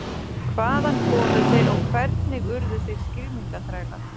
Hvaðan komu þeir og hvernig urðu þeir skylmingaþrælar?